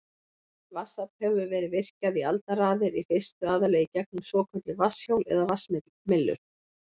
Vatnsafl hefur verið virkjað í aldaraðir, í fyrstu aðallega í gegnum svokölluð vatnshjól eða vatnsmyllur.